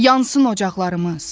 Yansın ocaqlarımız.